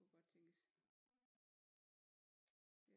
Kunne godt tænkes